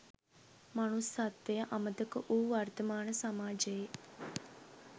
මනුස්සත්වය අමතක වූ වර්තමාන සමාජයේ